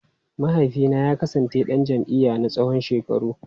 Mahaifina ya kasance dan jam’iyya na tsawon shekaru.